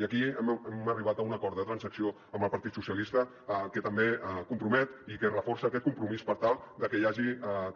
i aquí hem arribat a un acord de transacció amb el partit socialistes que també es compromet i que reforça aquest compromís per tal de que hi hagi